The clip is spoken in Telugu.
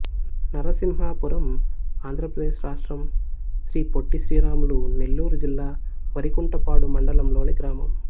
నరసింహాపురం ఆంధ్ర ప్రదేశ్ రాష్ట్రం శ్రీ పొట్టి శ్రీరాములు నెల్లూరు జిల్లా వరికుంటపాడు మండలం లోని గ్రామం